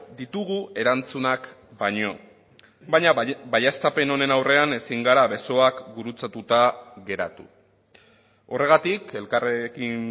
ditugu erantzunak baino baina baieztapen honen aurrean ezin gara besoak gurutzatuta geratu horregatik elkarrekin